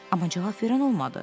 Amma cavab verən olmadı.